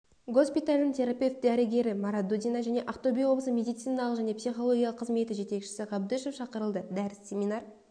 госпиталінің терапевт дәрігері марадудина және ақтөбе облысы медициналық және психологиялық қызметі жетекшісі ғабдышев шақырылды дәріс-семинар